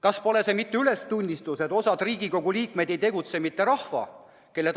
" Kas pole see mitte ülestunnistus, et osa Riigikogu liikmeid ei tegutse mitte rahva huvides?